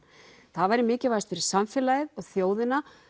það væri mikilvægast fyrir samfélagið og þjóðina